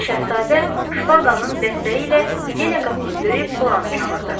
Gənc şahzadə şpaqanın dəstəyi ilə yenə qapını döyüb Loranı çağırdı.